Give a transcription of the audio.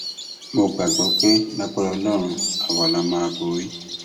mo gbàgbọ pé lágbára ọlọrun àwa la máa borí